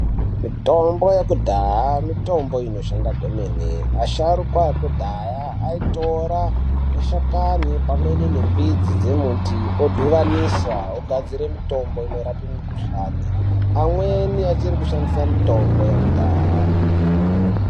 Mitombo yekudhaya mitombo inoshanda kwemene asharukwa ekudhaya aitora mashakani pamwe ne mbidzi dzemiti odhibanisa ogadzire mitombo inorape mikhuhlani amweni achiri kushandise mitombo yekudhaya.